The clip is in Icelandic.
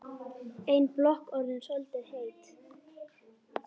Ein blokk orðin soldið heit.